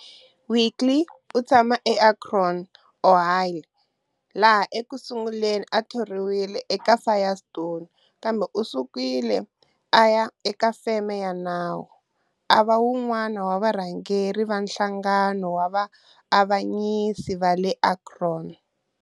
Willkie u tshame eAkron, Ohio, laha eku sunguleni a thoriweke eka Firestone, kambe u sukile a ya eka feme ya nawu, a va un'wana wa varhangeri va Nhlangano wa Vaavanyisi va le Akron.